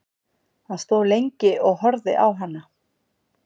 Hann stóð lengi og horfði á hana.